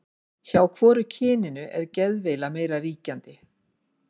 Hjá hvoru kyninu er geðveila meira ríkjandi?